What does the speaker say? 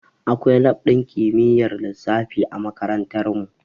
Akwai lab ɗin kimiyyar lissafi a makarantar mu